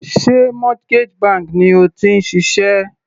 Sé mortgage bank ni o ti ń ṣiṣẹ́?